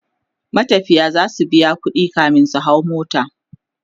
matafiya zasu biya ƙuɗi kamin su hau mota